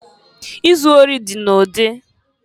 Izu ori dị n'ụdị.